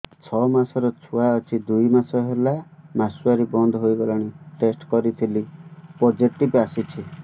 ଛଅ ମାସର ଛୁଆ ଅଛି ଦୁଇ ମାସ ହେଲା ମାସୁଆରି ବନ୍ଦ ହେଇଗଲାଣି ଟେଷ୍ଟ କରିଥିଲି ପୋଜିଟିଭ ଆସିଛି